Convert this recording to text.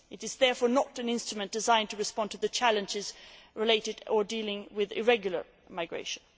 It is therefore not an instrument designed to respond to the challenges related to irregular migration.